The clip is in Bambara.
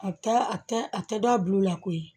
A taa a a tɛ da a bulu la koyi